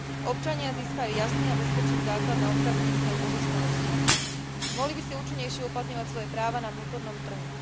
Občania získajú jasný a bezpečný základ na odkázanie svojej pozostalosti. Mohli by si účinnejšie uplatňovať svoje práva na vnútornom trhu.